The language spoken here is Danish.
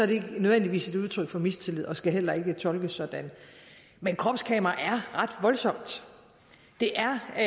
det ikke nødvendigvis et udtryk for mistillid og skal heller ikke tolkes sådan men kropskamera er ret voldsomt det er et